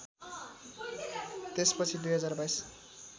त्यस पछि २०२२